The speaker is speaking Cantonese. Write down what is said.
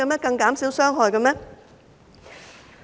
更減少傷害嗎？